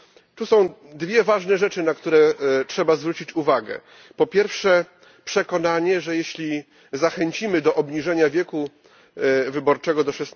Tu są dwie ważne rzeczy, na które trzeba zwrócić uwagę po pierwsze, przekonanie, że jeśli zachęcimy do obniżenia wieku wyborczego do